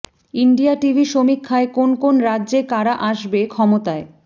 India TV সমীক্ষায় কোন কোন রাজ্যে কারা আসবে ক্ষমতায়